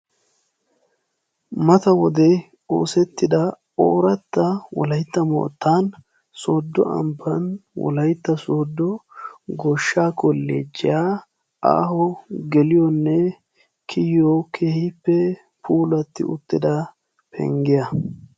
Mata wode oosettida ooratta wolaitta moottan sooddo abban wolaytta sooddo goshsha kolleeciyaa aaho geliyoonne kiyiyo kehippe puulatti uttida penggiyaa.